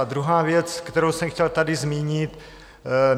A druhá věc, kterou jsem chtěl tady zmínit.